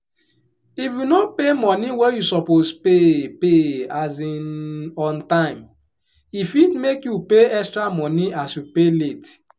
if you no pay money wey you suppose pay pay um on time e fit make you pay extra money as you pay late